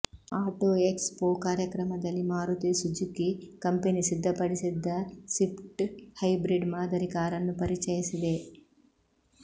auto expo ಕಾರ್ಯಕ್ರಮದಲಿ Maruti Suzuki company ಸಿದ್ಧಪಡಿಸಿದ್ದ Swift hybrid ಮಾದರಿ ಕಾರನ್ನು ಪರಿಚಯಿಸಿದೆ